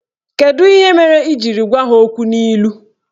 Kedu ihe mere ị jiri gwa ha okwu n'ilu?